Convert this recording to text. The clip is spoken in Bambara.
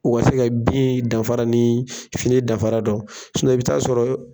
u ka se ka bin danfara ni fini danfara dɔn i bi t'a sɔrɔ.